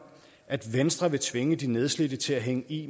at venstre vil tvinge de nedslidte til at hænge i